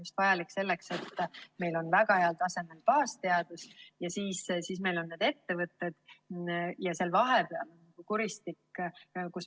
See on vajalik just selleks, et meil on väga heal tasemel baasteadus, siis on meil ettevõtted ja vahepeal on kuristik.